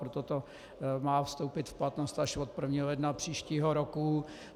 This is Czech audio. Proto to má vstoupit v platnost až od 1. ledna příštího roku.